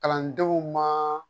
Kalandenw ma